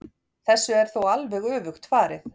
Þessu er þó alveg öfugt farið.